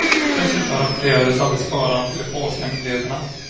Dessutom rapporterades aldrig skadan till de polska myndigheterna.